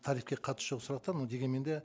тарифке қатысы жоқ сұрақтар но дегенмен де